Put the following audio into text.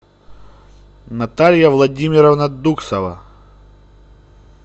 наталья владимировна дуксова